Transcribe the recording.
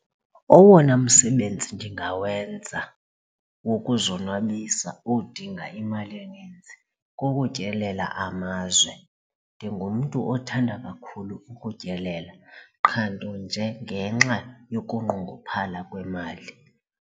Owona msebenzi ndingawenza wokuzonwabisa odinga imali eninzi kukutyelela amazwe. Ndingumntu othanda kakhulu ukutyelela qha nto nje ngenxa yokunqongophala kwemali.